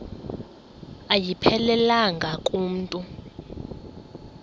ayiphelelanga ku mntu